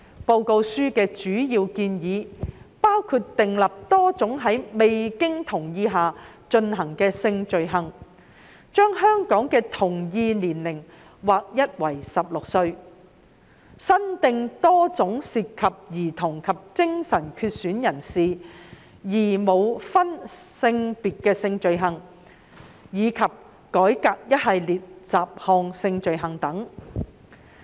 報告書的主要建議包括訂立多種在未經同意下進行的性罪行、將香港的同意年齡劃一為16歲、增訂多種涉及兒童及精神缺損人士而無分性別的性罪行，以及改革一系列雜項性罪行等。